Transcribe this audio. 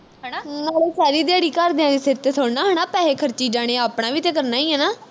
ਨਾਲੇ ਸਾਰੀ ਦਿਹਾੜੀ ਘਰ ਦਿਆਂ ਦੇ ਸਿਰ ਤੇ ਥੋੜਾ ਨਾ ਹਣਾ ਪੈਹੇ ਖਰਚੀ ਜਾਣੇ ਆਪਣਾ ਵੀ ਤੇ ਕਰਨਾ ਈ ਆ ਨਾ